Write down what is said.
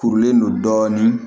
Kurulen don dɔɔnin